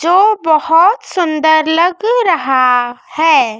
जो बहोत सुंदर लग रहा है।